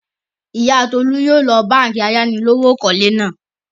Ìyá Tolú yóò lọ báńkì ayánilówókọ́lé náà.